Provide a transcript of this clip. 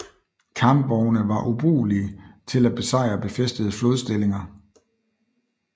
Kampvogne var ubrugelige til at besejre befæstede flodstillinger